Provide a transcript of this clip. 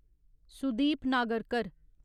Sudeep Nagarkar